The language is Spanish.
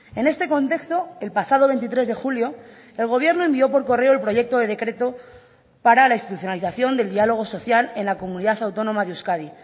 en este contexto el pasado veintitrés de julio el gobierno envió por correo el proyecto de decreto para la institucionalización del diálogo social en la comunidad autónoma de euskadi